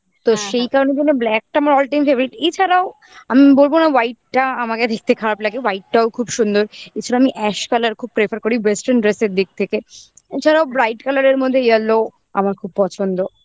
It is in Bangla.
তো সেই কারণের জন্য black টা আমার altime favourite এছাড়াও আমি বলবো না white টা আমাকে দেখতে খারাপ লাগে white টাও খুব সুন্দর আমি ash colour খুব prefer করি western dress এর দিক থেকে এছাড়াও bright colour এর মধ্যে yellow আমার খুব পছন্দ